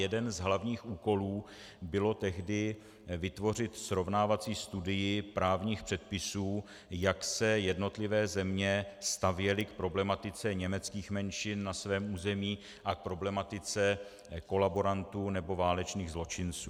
Jeden z hlavních úkolů bylo tehdy vytvořit srovnávací studii právních předpisů, jak se jednotlivé země stavěly k problematice německých menšin na svém území a k problematice kolaborantů nebo válečných zločinců.